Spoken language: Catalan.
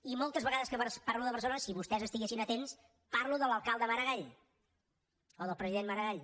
i moltes vegades que parlo de barcelona si vostès estiguessin atents parlo de l’alcalde maragall o del president maragall